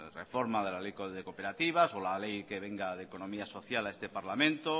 reforma de la ley de cooperativas o la ley que venga de economía social a este parlamento